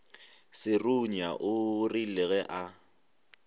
serunya o rile ge a